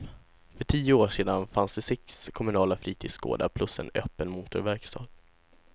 För tio år sedan fanns det sex kommunala fritidsgårdar plus en öppen motorverkstad.